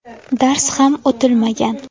Dars ham o‘tilmagan.